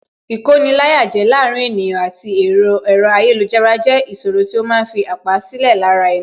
Ìkoni-láyàjẹ láàárín ènìyàn àti ẹ̀rọ ayélujára jẹ́ ìṣòro tí ó ma ń fi àpá sílẹ̀ lára ẹni